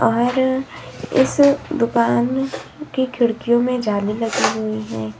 और इस दुकान की खिड़कियों में जाली लगी हुई है।